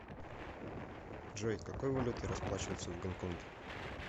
джой какой валютой расплачиваются в гонконге